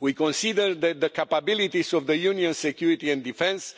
We consider that the capabilities of Union security and defence